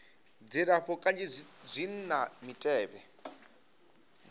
dzilafho kanzhi zwi na mitevhe